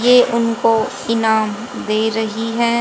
ये उनको इनाम दे रही है।